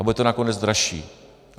A bude to nakonec dražší.